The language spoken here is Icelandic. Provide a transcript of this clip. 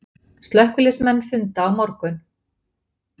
Slökkviliðsmenn funda á morgun